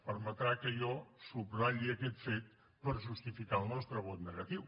permetrà que jo subratlli aquest fet per justificar el nostre vot negatiu